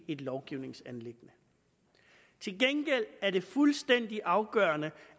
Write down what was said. et lovgivningsanliggende til gengæld er det fuldstændig afgørende